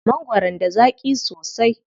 Mangwaron da zaƙi sosai.